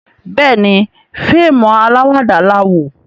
Béèni fíìmù alawada la wò.